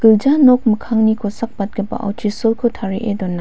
nok mikkangni kosakbatgipao chisolko tarie dona.